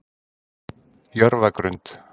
Jörfagrund